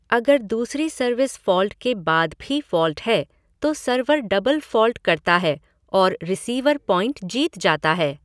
अगर दूसरी service fault के बाद भी फ़ॉल्ट है, तो सर्वर डबल फ़ॉल्ट करता है और रिसीवर पॉइंट जीत जाता है।